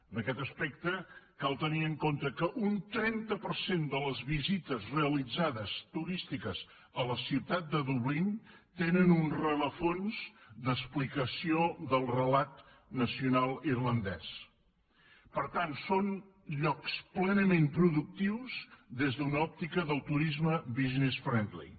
en aquest aspecte cal tenir en compte que un trenta per cent de les visites realitzades turístiques a la ciutat de dublín tenen un rerefons d’explicació del relat nacional irlandès per tant són llocs plenament productius des d’una òptica del turisme business friendly